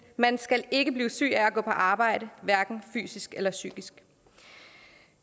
man skal ikke blive syg af at gå på arbejde hverken fysisk eller psykisk